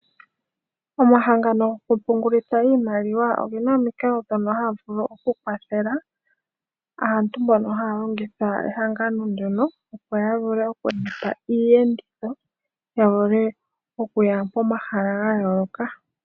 Omahangano gokupungulitha iimaliwa oge na omikalo ndhono haya vulu okukwathela aantu mbono haya longitha ehangano ndyono opo ya vule okulanda iiyenditho ya vule okuya pomahala ga yooloka.